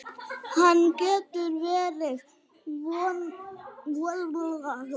Hvernig, hver voru viðbrögð hans?